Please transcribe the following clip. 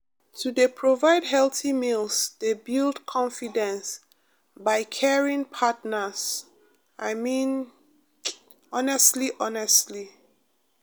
to dey provide healthy meals dey build confidence by caring partners i mean um honestly honestly.